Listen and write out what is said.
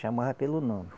Chamava pelo nome.